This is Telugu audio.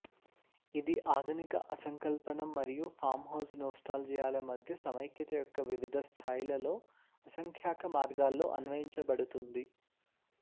ఇది ఆధునిక అసంకల్పనం మరియు ఫామ్హౌస్ నోస్టాల్జియాల మధ్య సమైక్యత యొక్క వివిధ స్థాయిలలో అసంఖ్యాక మార్గాల్లో అన్వయించబడుతుంది